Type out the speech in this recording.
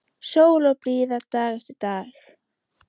Sól og blíða dag eftir dag.